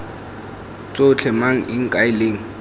tsotlhe mang eng kae leng